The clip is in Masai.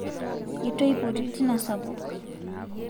itu aipoti tina sapuk